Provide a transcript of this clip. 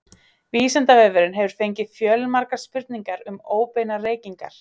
Vísindavefurinn hefur fengið fjölmargar spurningar um óbeinar reykingar.